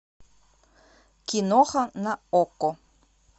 киноха на окко